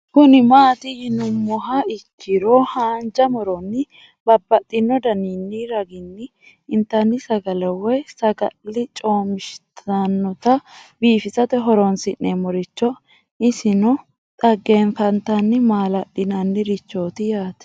Kuni mati yinumoha ikiro hanja muroni babaxino daninina ragini intani sagale woyi sagali comishatenna bifisate horonsine'morich isino xagefantanina malali'nani richoti yaate